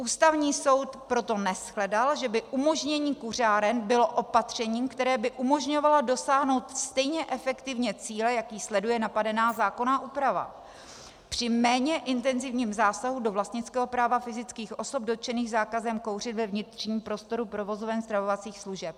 Ústavní soud proto neshledal, že by umožnění kuřáren bylo opatřením, které by umožňovalo dosáhnout stejně efektivně cíle, jaký sleduje napadená zákonná úprava při méně intenzivním zásahu do vlastnického práva fyzických osob dotčených zákazem kouření ve vnitřním prostoru provozoven stravovacích služeb.